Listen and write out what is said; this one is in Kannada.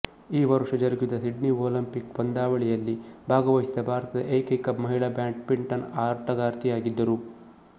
ಈ ವರುಷ ಜರುಗಿದ ಸಿಡ್ನಿ ಒಲಿಂಪಿಕ್ ಪಂದ್ಯಾವಳಿಯಲ್ಲಿ ಭಾಗವಹಿಸಿದ ಭಾರತದ ಏಕೈಕ ಮಹಿಳಾ ಬ್ಯಾಡ್ಮಿಂಟನ್ ಆಟಗಾರ್ತಿಯಾಗಿದ್ದರು